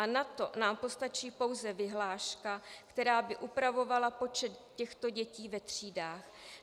A na to nám postačí pouze vyhláška, která by upravovala počet těchto dětí ve třídách.